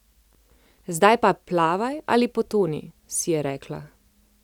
Zdaj pa plavaj ali potoni, si je rekla.